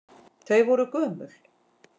Þau voru gömul.